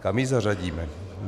Kam ji zařadíme?